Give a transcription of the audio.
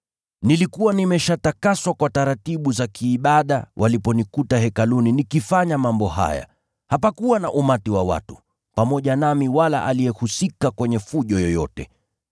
Nilikuwa nimeshatakaswa kwa taratibu za kiibada waliponikuta Hekaluni nikifanya mambo haya. Hapakuwa na umati wa watu, pamoja nami wala aliyehusika kwenye fujo yoyote.